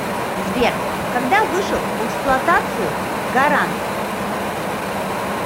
сбер когда вышел в эксплуатацию гаранд